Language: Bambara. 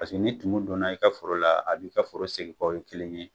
Paseke ni tumu don na i ka foro la b'i ka foro segin kɔ ,o ye kelen ye